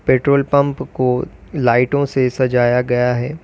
Petrol pump को लाइटों से सजाया गया है।